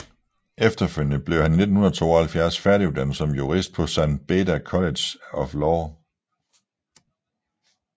Efterfølgende blev han i 1972 færdiguddannet som jurist på San Beda College of Law